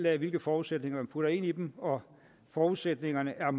af hvilke forudsætninger man putter ind i dem og forudsætningerne er